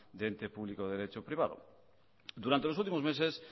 de ente público derecho privado durante los últimos meses